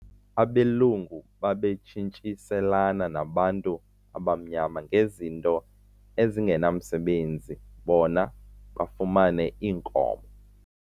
Abelungu babetshintshiselana nabantu abamnyama ngezinto ezingenamsebenzi bona bafumane iinkomo.